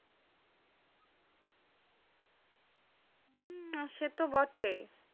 হমম set বটেই।